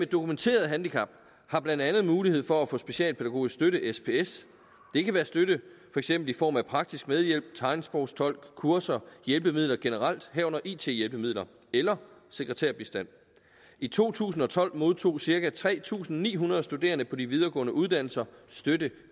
dokumenteret handicap har blandt andet mulighed for at få specialpædagogisk støtte sps det kan være støtte for eksempel i form af praktisk medhjælp tegnsprogstolk kurser hjælpemidler generelt herunder it hjælpemidler eller sekretærbistand i to tusind og tolv modtog cirka tre tusind ni hundrede studerende på de videregående uddannelser støtte